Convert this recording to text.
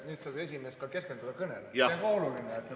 Nüüd saab ka esimees keskenduda kõnele, see on oluline.